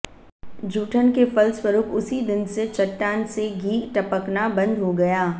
जूठन के फलस्वरूप उसी दिन से चट्टान से घी टपकना बंद हो गया